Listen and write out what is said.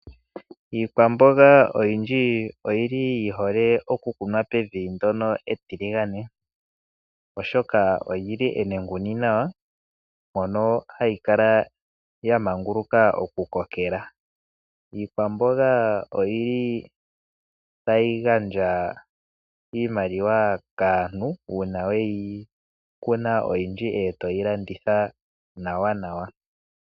Iikwamboga oyindji oyili yihole okukunwa pevi ndoka etiligane oshoka olili enenguni nawa mpono hayi kala ya manguluka oku kokela. Iikwamboga oyili tayi gandja iimaliwa kaantu uuna weyi kuna oyindji etoyi landitha nawa.